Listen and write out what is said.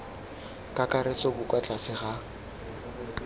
kakaretso bo kwa tlase ga